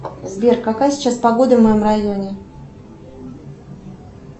сбер какая сейчас погода в моем районе